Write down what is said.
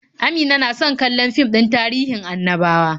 Amina na so kallon fim din tahirin annabawa.